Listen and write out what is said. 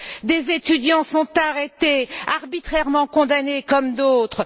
Des étudiants sont arrêtés, arbitrairement condamnés, comme d'autres.